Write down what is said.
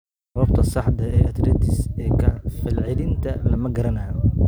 Sababta saxda ah ee arthritis-ka falcelinta lama garanayo.